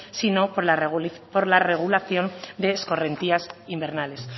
sino por la regulación de escorrentías invernales